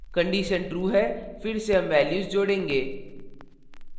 condition true है फिर से हम values जोडेंगे